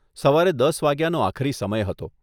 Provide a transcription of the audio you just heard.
સવારે દસ વાગ્યાનો આખરી સમય હતો.